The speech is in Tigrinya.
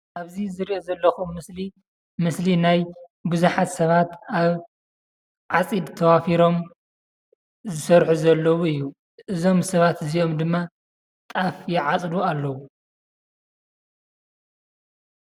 ኣብእዚዝርኦ ዘለኩ ምስሊምስሊ ናይ ቡዛሓት ሰባት ኣብ ዓፂድ ተዋፍሮም ዝሰርሑ ዘለዉ አዩ፡፡ እዝኦሞ ሰባት እዝኦሞ ድማ ጣፍ ይዓፅዱ ኣለዉ፡፡